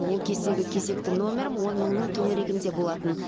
ол кездегі кезекті нөмірім он мыңның төңірегінде болатын